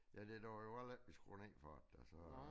Ja duer jo heller ikke vi skruer ned for det da så